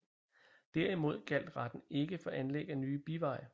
Derimod gjaldt retten ikke for anlæg af nye biveje